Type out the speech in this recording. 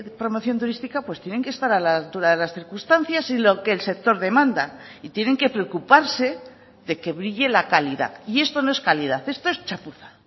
promoción turística pues tienen que estar a la altura de las circunstancias y lo que el sector demanda y tienen que preocuparse de que brille la calidad y esto no es calidad esto es chapuza